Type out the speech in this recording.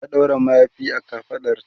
ta ɗaura mayafi a kafaɗarta